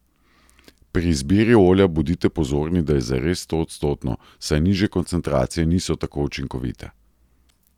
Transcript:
Pri izbiri olja bodite pozorni, da je zares stoodstotno, saj nižje koncentracije niso tako učinkovite.